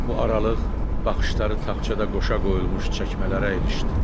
Bu aralıq baxışları taxçada qoşa qoyulmuş çəkmələrə ilişdi.